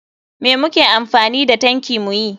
Me muke amfani da tanki muyi?